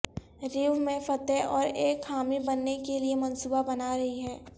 Rio میں فتح اور ایک حامی بننے کے لئے منصوبہ بنا رہی ہے